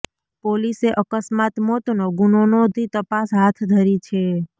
પોલીસે અકસ્માત મોતનો ગુનો નોધી તપાસ હાથ ધરી છે